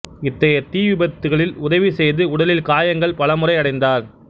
இத்தகைய தீ விபத்துகளில் உதவி செய்து உடலில் காயங்கள் பல முறை அடைந்தார்